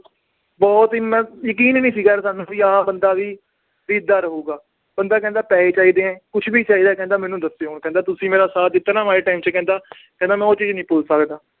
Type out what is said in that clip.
ਬਹੁਤ ਹੀ ਮੈਂ ਯਕੀਨ ਹੀ ਨੀ ਸੀਗਾ ਸਾਨੂੰ ਵੀ ਆਹ ਬੰਦਾ ਵੀ ਵੀ ਏਦਾਂ ਰਹੇਗਾ, ਬੰਦਾ ਕਹਿੰਦਾ ਪੈਸੇ ਚਾਹੀਦੇ ਹੈ ਕੁਛ ਵੀ ਚਾਹੀਦਾ ਹੈ ਕਹਿੰਦਾ ਮੈਨੂੰ ਦੱਸਿਓ ਹੁਣ, ਕਹਿੰਦਾ ਤੁਸੀਂ ਮੇਰਾ ਸਾਥ ਦਿੱਤਾ ਨਾ ਮਾੜੇ time 'ਚ ਕਹਿੰਦਾ ਕਹਿੰਦਾ ਮੈਂ ਉਹ ਚੀਜ਼ ਨੀ ਭੁੱਲ ਸਕਦਾ